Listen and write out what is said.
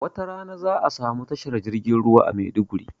wata rana za'a samu tashar jirgin ruwa a Maiduguri